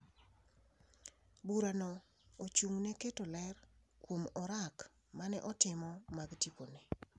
Burano ochung’ne keto ler kuom orak ma ne otimo mag tipone.